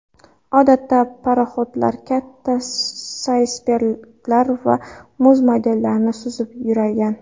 Odatda paroxodlar katta aysberglar va muz maydonlarida suzib yurgan.